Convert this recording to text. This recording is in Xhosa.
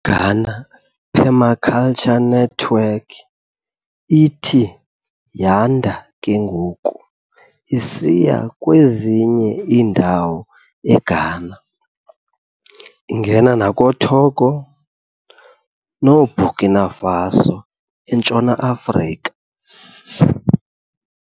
iGhana Permaculture Network ithi yanda kengoku isiya kwezinye indawo eGhana, ingena nakooTogo noBurkina Faso entshona afrika.